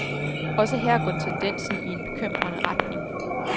Også her går tendensen i en bekymrende retning.